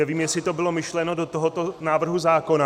Nevím, jestli to bylo myšleno do tohoto návrhu zákona.